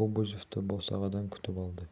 кобозевті босағадан күтіп алды